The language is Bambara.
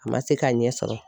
A ma se k'a ɲɛ sɔrɔ.